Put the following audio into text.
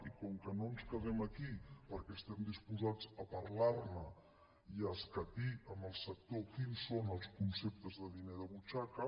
i com que no ens quedem aquí perquè estem disposats a parlarne i a escatir amb el sector quins són els conceptes de diner de butxaca